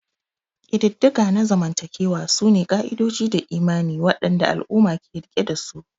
Ƙididdiga na zamantakewa sune ka'idoji da imani waɗanda al'umma ke riƙe dasu.